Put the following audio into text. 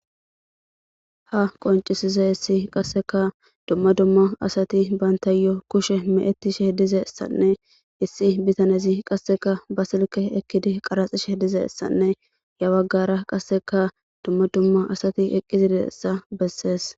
ha qoncisize issi qasseka dumma dumma asati bantayyo kushe meettishe dizessanne issi bitanezi qasseka basilke ekkidi qaraxishe dizessanne yawaggara qasseka dumma dumma asati eqqizideessa bessees